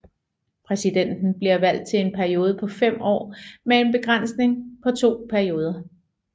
Præsidenten bliver valgt til en periode på fem år med en begrænsning på to perioder